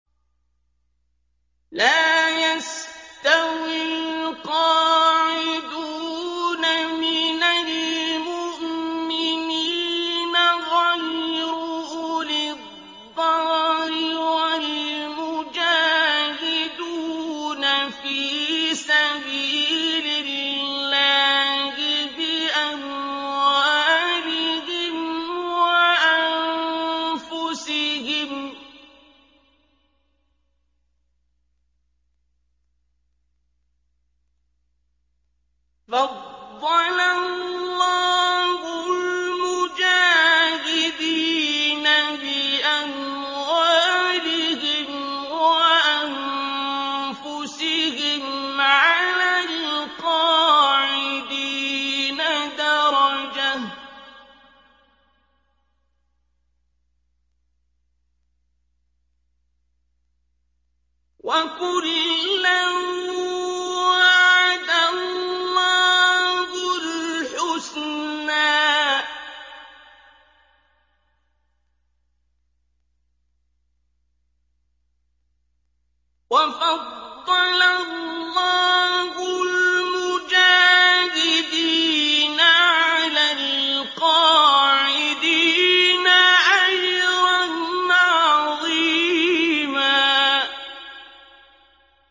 لَّا يَسْتَوِي الْقَاعِدُونَ مِنَ الْمُؤْمِنِينَ غَيْرُ أُولِي الضَّرَرِ وَالْمُجَاهِدُونَ فِي سَبِيلِ اللَّهِ بِأَمْوَالِهِمْ وَأَنفُسِهِمْ ۚ فَضَّلَ اللَّهُ الْمُجَاهِدِينَ بِأَمْوَالِهِمْ وَأَنفُسِهِمْ عَلَى الْقَاعِدِينَ دَرَجَةً ۚ وَكُلًّا وَعَدَ اللَّهُ الْحُسْنَىٰ ۚ وَفَضَّلَ اللَّهُ الْمُجَاهِدِينَ عَلَى الْقَاعِدِينَ أَجْرًا عَظِيمًا